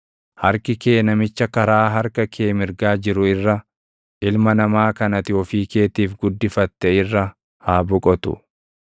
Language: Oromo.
Harki kee namicha karaa harka kee mirgaa jiru irra, ilma namaa kan ati ofii keetiif guddifatte irra haa boqotu.